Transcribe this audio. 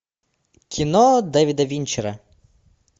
кино дэвида винчера